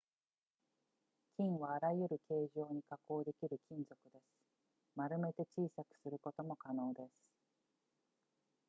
金はあらゆる形状に加工できる金属です丸めて小さくすることも可能です